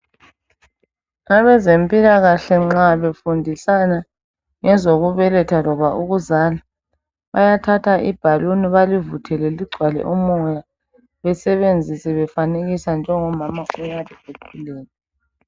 Abezempilakahle nxa befundisana ngezokubeletha loba ukuzala bayathatha ibaloon balivuthele ligcwale umoya besebenzise befanekisa njengo mama okade ekhulelwe.